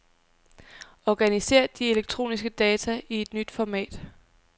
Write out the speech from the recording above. Organiser de elektroniske data i et nyt format.